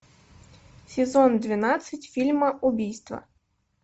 сезон двенадцать фильма убийство